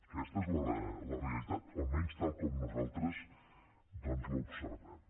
aquesta és la realitat almenys tal com nosaltres doncs l’observem